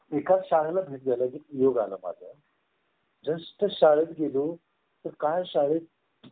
एका शाळे ला भेट ये झाला माझं just शाळेत गेलो तर काय शाळेत